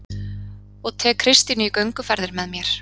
Og tek Kristínu í gönguferðir með mér